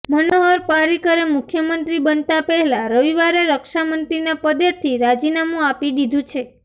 મનોહર પાર્રિકરે મુખ્યમંત્રી બનતા પહેલા રવિવારે રક્ષામંત્રીના પદેથી રાજીનામું આપી દીધુ છે